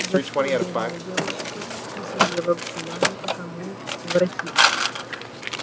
за что бедная девка просидела в чулане пока мы воротились